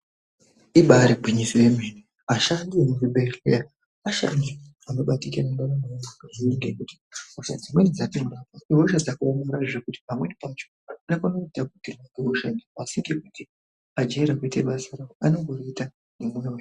Ibaari gwinyiso yemene ashandi emuzvibhehleya ashandi anobatikira ndaramo yevanhu kazhinji ngekuti hosha dzimweni dzatinomboona, ihosha dzakaomarara zvekuti pamweni pacho anofane kutapukirwa ngehosha iyi asi ngekuti ajaire kuita basa ravo, anongoriita nemwoyo.